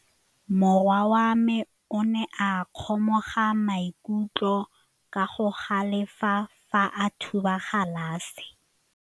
Morwa wa me o ne a kgomoga maikutlo ka go galefa fa a thuba galase.